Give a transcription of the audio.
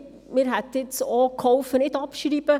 Wir hätten jetzt auch geholfen, nicht abzuschreiben.